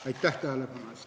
Aitäh tähelepanu eest!